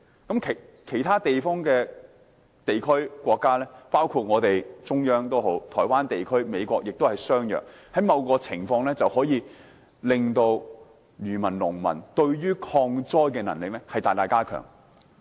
至於其他地區及國家，包括中國、台灣地區或美國，情況也相若，某程度上大大加強漁民及農民的抗災能力。